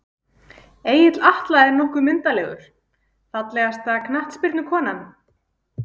Egill Atla er nokkuð myndarlegur Fallegasta knattspyrnukonan?